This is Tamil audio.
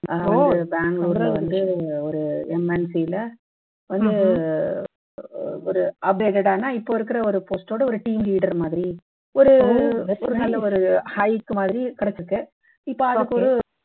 அஹ் வந்து பெங்களூருல வந்து ஒரு MNC ல வந்து ஒரு updated ஆனா இப்ப இருக்கிற ஒரு post ஓட ஒரு team leader மாதிரி ஒரு ஒரு நல்ல ஒரு high மாதிரி கிடைச்சிருக்கு இப்ப அதுக்கு ஒரு